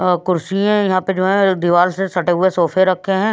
अ कुर्सी हैं यहाँ पे जो है दीवाल से सटे हुए सोफे रखे हुए हैं।